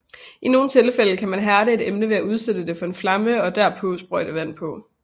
I nogle tilfælde kan man hærde et emne ved at udsætte det for en flamme og derpå sprøjte vand på